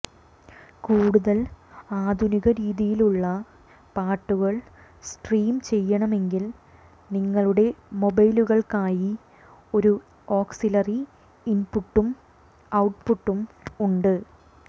കൂടുതൽ ആധുനിക രീതിയിലുള്ള പാട്ടുകൾ സ്ട്രീം ചെയ്യണമെങ്കിൽ നിങ്ങളുടെ മൊബൈലുകൾക്കായി ഒരു ഓക്സിലറി ഇൻപുട്ടും ഔട്ട്പുട്ടും ഉണ്ട്